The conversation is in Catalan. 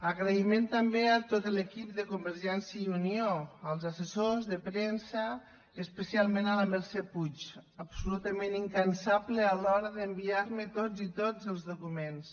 agraïment també a tot l’equip de convergència i unió als assessors de premsa i especialment a la mercè puig absolutament incansable a l’hora d’ enviarme tots i tots els documents